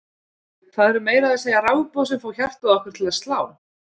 það eru meira að segja rafboð sem fá hjartað okkar til að slá!